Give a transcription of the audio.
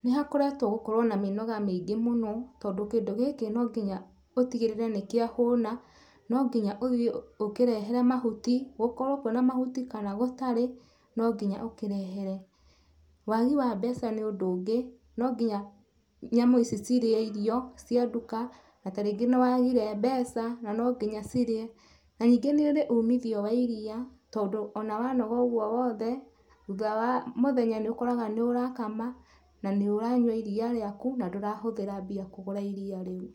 Nĩ hakoretwe gũkorwa na mĩnoga mĩingĩ mũno tondũ kĩndũ gĩkĩ nonginya ũtigĩrĩrĩ nĩkĩahũna, nonginya ũthiĩ ũkĩrehere mahuti gũkorwo kwĩna mahuti kana gũtarĩ nonginya ũkĩrehere. Wagii wa mbeca nĩũndũ ũngĩ ,nonginya nyamũ ici cirĩe irio cia nduka natarĩngĩ nĩwagire mbeca na nonginya cirĩe na ningĩ nĩ ũrĩ umithio wa iria tondũ ona wanoga ũguo wothe thutha wa múũhenya nĩũkoraga nũrakama na nĩũranyua ĩrĩa rĩaku na ndũrahũthĩra mbia kũgũra iriia rĩu.